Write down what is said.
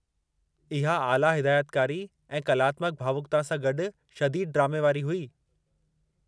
इहा आला हिदायतकारी ऐं कलात्मकु भावुकता सां गॾु शदीदु ड्रामे वारी हुई।